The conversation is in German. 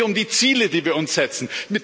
Es geht hier um die Ziele, die wir uns setzen.